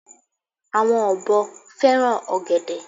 àwọn ọ̀bọ fẹràn ògèdè